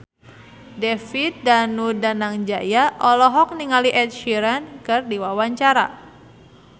David Danu Danangjaya olohok ningali Ed Sheeran keur diwawancara